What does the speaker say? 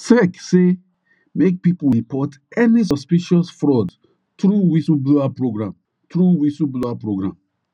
sec say make people report any suspicious fraud through whistle blower program through whistle blower program